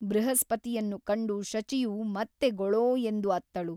ಬೃಹಸ್ಪತಿಯನ್ನು ಕಂಡು ಶಚಿಯು ಮತ್ತೆ ಗೊಳೋ ಎಂದು ಅತ್ತಳು.